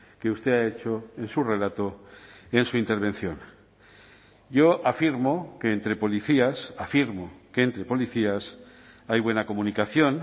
que usted ha hecho en su relato en su intervención yo afirmo que entre policías afirmo que entre policías hay buena comunicación